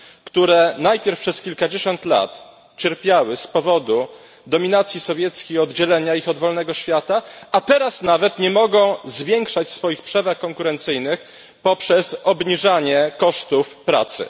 które najpierw przez kilkadziesiąt lat cierpiały z powodu dominacji sowieckiej, oddzielenia ich od wolnego świata, a teraz nawet nie mogą zwiększać swoich przewag konkurencyjnych poprzez obniżanie kosztów pracy.